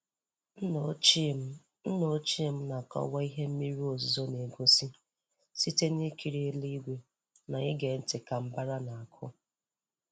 Nna ochie m Nna ochie m na-akọwa ihe mmiri ozuzo na-egosi site n'ikiri elu igwe na ịge ntị ka mbàrá na-akụ.